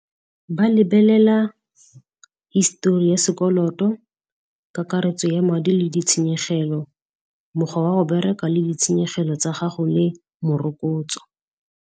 Ba lebelela histori ya sekoloto kakaretso ya madi le ditshenyegelo, mokgwa wa go bereka le ditshenyegelo tsa gago le morokotso.